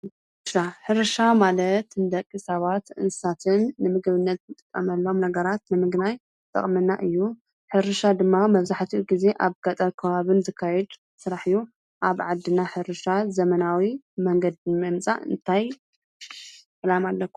ሕርሻ ማለት ንደቂ ሰባትን እንስሳትን ንምግብነት እንጥቀመሎም ነገራት ንምግናይ ዝጠቅመና እዩ፡፡ ሕርሻ ድማ መብዛሕትኡ ግዜ ኣብ ገጠር ከባቢን ዝካየድ ስራሕ እዩ፡፡ ኣብ ዓድና ሕርሻ ዘመናዊ መንገዲ ንምምፃእ እንታይ ዕላማ ኣሎኩም?